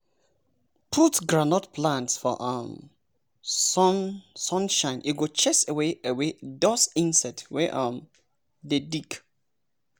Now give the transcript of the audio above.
put groundnut plant for um sun shine e go chase away away those insect wey um dey dig.